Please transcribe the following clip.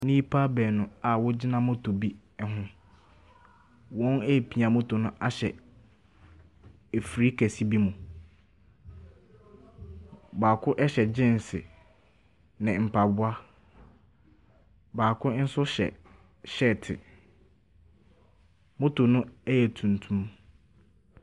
Nnipa baanu a wɔgyina motor be ho. Wɔrepia motor no ahyɛ afiri kɛse bi mu. Baako hyɛ geans ne mpaboa. Baako nso hyɛ hyɛɛte. Motor no yɛ tuntum.